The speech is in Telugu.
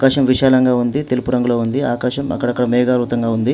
ఆకాశం విశాలంగా ఉంది తెలుపు రంగులో ఉంది. ఆకాశం అక్కడక్కడ మేఘావృతంగా ఉంది.